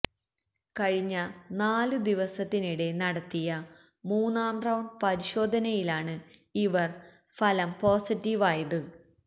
കഴിഞ്ഞ നാലു ദിവസത്തിനിടെ നടത്തിയ മൂന്നാം റൌണ്ട് പരിശോധനയിലാണ് ഇവർ ഫലം പോസറ്റീവായത്